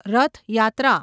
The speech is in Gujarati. રથ યાત્રા